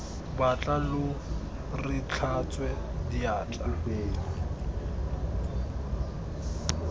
batla lo re tlhatswe diatla